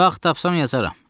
Vaxt tapsam yazaram.